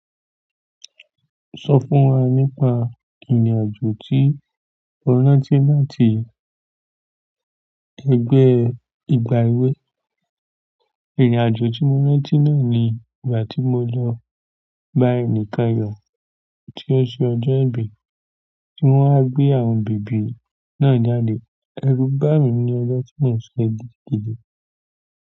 Sọ fún wa nípa ìrìn-àjò tí o rántí láti ẹgbẹ́ ìgbà èwe. Ìrìn-àjò tí mo rántí náà ni ìgbà tí mo lọ. Báyì ní Kayọ̀ tí ó ṣe ọjọ́ ìbí, tí wọ́n wá gbé àwọn bèbí náà jáde. Ẹ̀rú bàmí ní ọjọ́ tí mò ń sọ yìí gídididi.